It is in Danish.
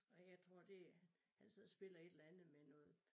Og jeg tror det han sidder og spiller et eller andet med noget